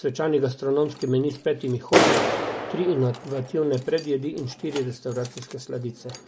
svečani gastronomski meni s petimi hodi, tri inovativne predjedi in štiri restavracijske sladice.